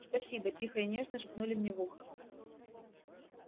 спасибо тихо и нежно шепнули мне в ухо